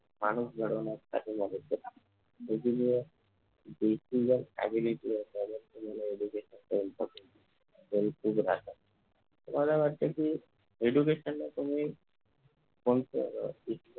माणूस घडविण्यात तुम्हाला वाटते कि education ला तुम्ही